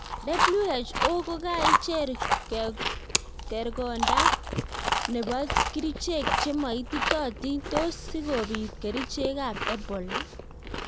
WHO kogaicher kergondak nepo girichek chemo ititotik tos sigopit kerichek ap ebola?